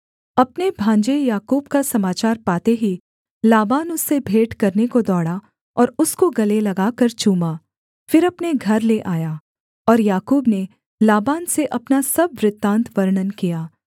अपने भांजे याकूब का समाचार पाते ही लाबान उससे भेंट करने को दौड़ा और उसको गले लगाकर चूमा फिर अपने घर ले आया और याकूब ने लाबान से अपना सब वृत्तान्त वर्णन किया